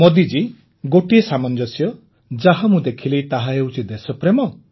ମୋଦିଜୀ ଗୋଟିଏ ସାମଞ୍ଜସ୍ୟ ଯାହା ମୁଁ ଦେଖିଲି ତାହା ହେଉଛି ଦେଶପ୍ରେମ